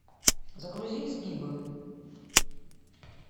загрузи изгибы